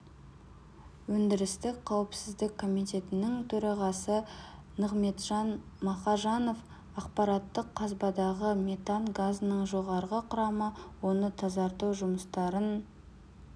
өндірістік қауіпсіздік комитетінің төрағасы нығмеджан мақажанов апаттық қазбадағы метан газының жоғары құрамы оны тазарту жұмыстарын